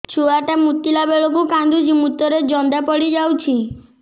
ଛୁଆ ଟା ମୁତିଲା ବେଳକୁ କାନ୍ଦୁଚି ମୁତ ରେ ଜନ୍ଦା ପଡ଼ି ଯାଉଛି